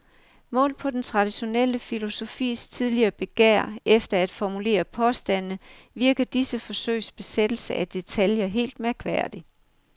Målt på den traditionelle filosofis tidligere begær efter at formulere påstande virker disse forsøgs besættelse af detaljer helt mærkværdig.